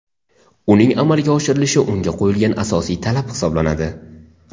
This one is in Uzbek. uning amalga oshirilishi unga qo‘yilgan asosiy talab hisoblanadi:.